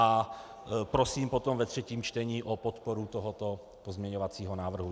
A prosím potom ve třetím čtení o podporu tohoto pozměňovacího návrhu.